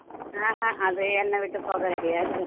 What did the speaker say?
ஆஹான் அது என்னை விட்டு போக ready ஆ இல்ல